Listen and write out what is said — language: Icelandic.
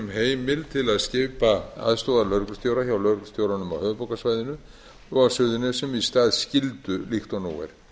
h heimild til að skipa aðstoðarlögreglustjóra hjá lögreglustjóranum á höfuðborgarsvæðinu og á suðurnesjum í stað skyldu líkt og nú er